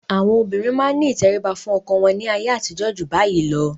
Àwọn obìnrin máa ní ìtẹríba fún ọkọ wọn ní ayé àtijó ju bayìí lọ.